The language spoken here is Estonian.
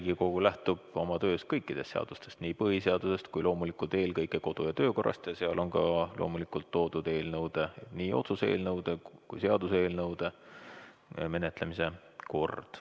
Riigikogu lähtub oma töös kõikidest seadustest, sh põhiseadusest ning loomulikult eelkõige kodu- ja töökorra seadusest, milles on esitatud nii otsuse eelnõude kui ka seaduseelnõude menetlemise kord.